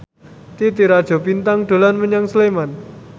Titi Rajo Bintang dolan menyang Sleman